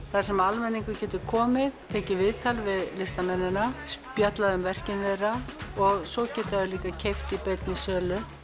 þar sem almenningur getur komið tekið viðtal við listamennina spjallað um verkin þeirra svo geta þeir líka keypt í beinni sölu